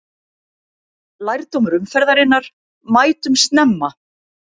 Lærdómur umferðarinnar: Mætum snemma!